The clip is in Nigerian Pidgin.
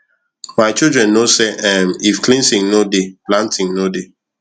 my children know say um if cleansing no dey planting no dey